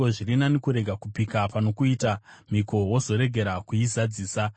Zviri nani kurega kupika pano kuita mhiko wozorega kuizadzisa.